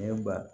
Ne ba